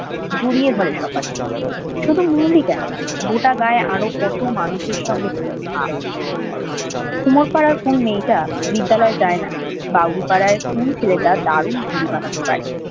জড়িয়ে ধরে সপাতে গোটা গাঁয়ের আরও কত মানুষের সাথে কুমুর ভাব কুমোর পাড়ার কোন মেয়েটা বিদ্যালয়ে যায় না, বাউরি পাড়ার কোন ছেলেটা দারুণ ঘুড়ি বাড়াতে পারে